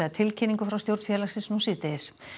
í tilkynningu frá stjórn félagsins síðdegis